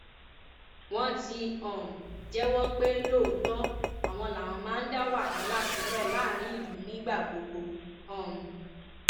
wọn ti um jẹwọ pé lóòótọ àwọn làwọn máa ń dá wàhálà sílẹ láàrin ìlú nígbà gbogbo um